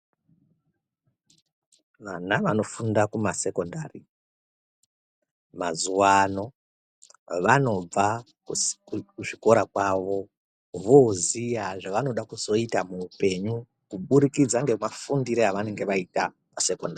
Vana vanofunda kumasekondari mazuwano vanobva kuzvikora kwavo voziya zvavanoda kuzoita muupenyu kuburikidza ngemafundire avanenge vaita pasekondari.